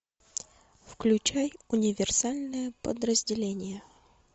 включай универсальное подразделение